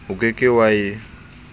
o ke ke wa e